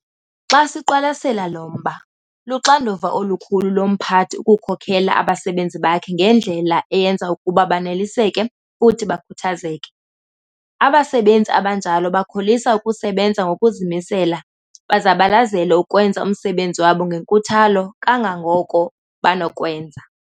Xa siqwalasela lo mba, luxanduva olukhulu lomphathi ukukhokela abasebenzi bakhe ngendlela eyenza ukuba baneliseke futhi bakhuthazeke. Abasebenzi abanjalo bakholisa ukusebenza ngokuzimisela bazabalazele ukwenza umsebenzi wabo ngenkuthalo kangangoko banokwenza.